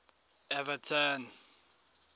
everton